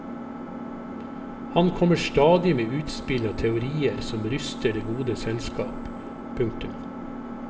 Han kommer stadig med utspill og teorier som ryster det gode selskap. punktum